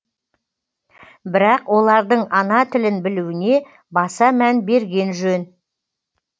бірақ олардың ана тілін білуіне баса мән берген жөн